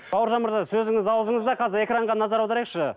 бауыржан мырза сөзіңіз ауызыңызда қазір экранға назар аударайықшы